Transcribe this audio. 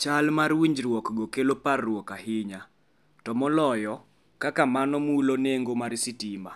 Chal mar winjruokgo kelo parruok ahinya, to moloyo kaka mano mulo nengo mar stima,